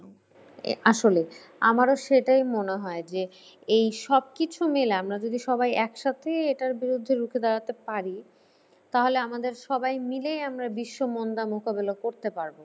আসলে যে আমারও সেটাই মনে হয় যে এইসব কিছু মিলে আমরা যদি একসাথে এটার বিরুদ্ধে রুখে দাঁড়াতে পারি তাহলে আমাদের সবাই মিলেই আমরা বিশ্ব মন্দা মোকাবিলা করতে পারবো।